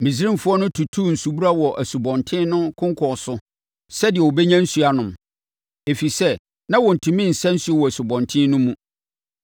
Misraimfoɔ no tutuu nsubura wɔ asubɔnten no konkɔn so sɛdeɛ wɔbɛnya nsuo anom, ɛfiri sɛ, na wɔntumi nsa nsuo wɔ asubɔnten no mu.